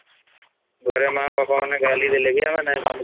ଘରେ ମା ବାପା ମାନେ ଗାଲି ଦେଲେ ଜେ ଆମେ ନାଈ ମାନୁ